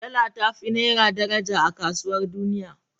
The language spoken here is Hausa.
Dala ta fi naira daraja a kasuwar duniya.